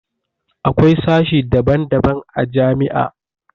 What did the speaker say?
Akwai sashe daban daban a jami'a